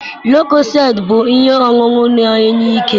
lucozade bụ ihe ọṅụṅụ na enye ike